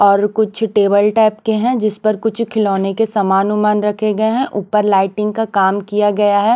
और कुछ table type के हैं जिस पर कुछ खिलौने के सामान उमान रखे गए हैं ऊपर लाइटिंग का काम किया गया है।